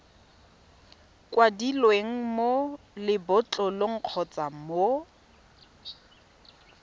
kwadilweng mo lebotlolong kgotsa mo